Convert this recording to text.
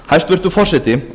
hæstvirtur forseti